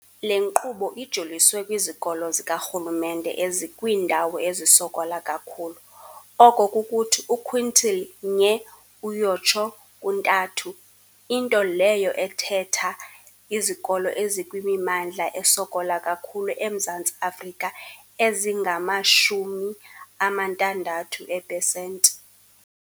Le nkqubo ijoliswe kwizikolo zikarhulumente ezikwiindawo ezisokola kakhulu, oko kukuthi u-quintile 1-3, into leyo ethetha izikolo ezikwimimmandla esokola kakhulu eMzantsi Afrika ezingama-60 eepesenti.